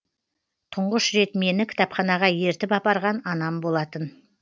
тұңғыш рет мені кітапханаға ертіп апарған анам болатын